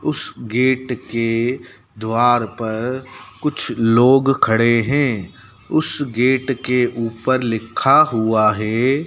उस गेट के द्वार पर कुछ लोग खड़े हैं। उस गेट के ऊपर लिखा हुआ है।